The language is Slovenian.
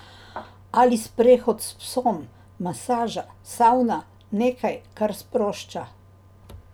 Ali sprehod s psom, masaža, savna, nekaj, kar sprošča.